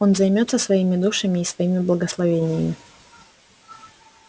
он займётся своими душами и своими благословениями